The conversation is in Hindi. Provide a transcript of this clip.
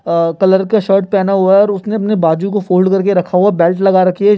--अ कलर का शर्ट पेहना हुआ है और उसने अपने बाजू को फोल्ड कर के रखा हुआ है बेल्ट लगा रखी है।